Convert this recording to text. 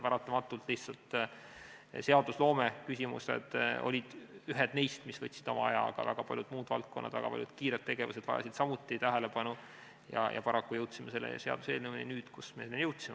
Paratamatult seadusloomeküsimused olid lihtsalt ühed neist, mis võtsid oma aja, aga ka väga paljud muud valdkonnad ja muud kiired tegevused vajasid samuti tähelepanu ja me jõudsime selle seaduseelnõuni nüüd, kui me jõudsime.